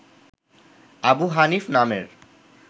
আবু হানিফ নামের